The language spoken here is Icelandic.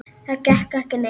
Það gekk ekki neitt.